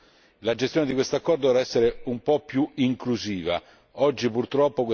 Questo accordo dovrà essere gestito e la gestione di questo accordo dovrà essere un po' più inclusiva.